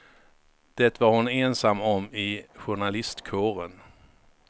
Det var hon ensam om i journalistkåren.